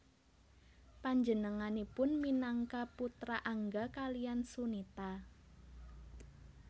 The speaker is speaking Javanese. Panjenenganipun minangka putra Angga kaliyan Sunita